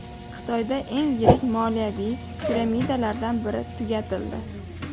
Xitoyda eng yirik moliyaviy piramidalardan biri tugatildi.